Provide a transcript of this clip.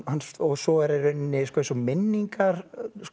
svo er í rauninni eins og minningar